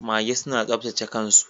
Mage suna saptace kan su.